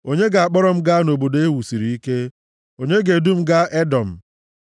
Onye ga-akpọrọ m gaa nʼobodo e wusiri ike? Onye ga-edu m gaa Edọm?